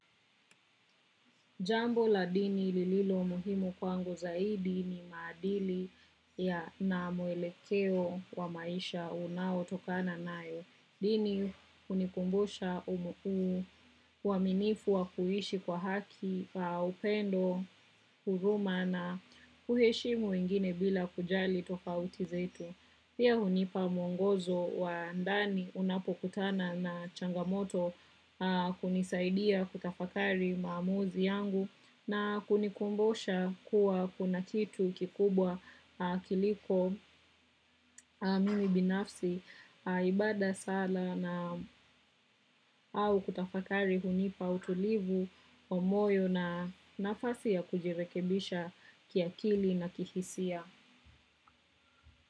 Jambo la dini lililo muhimu kwangu zaidi ni maadili ya na mwelekeo wa maisha unaotoka nayo. Dini hunikumbusha umu uaminifu wa kuishi kwa haki, upendo, huruma na kuheshimu wengine bila kujali tofauti zetu. Pia hunipa mwongozo wa andani unapokutana na changamoto hunisaidia kutafakari maamuzi yangu na kunikumbosha kuwa kuna kitu kikubwa kiliko mimi binafsi ibada sala na au kutafakari hunipa utulivu wa moyo na nafasi ya kujirekebisha kiakili na kihisia.